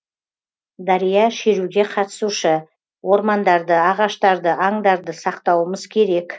дария шеруге қатысушы ормандарды ағаштарды аңдарды сақтауымыз керек